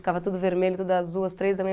Ficava tudo vermelho, tudo azul, às três da manhã.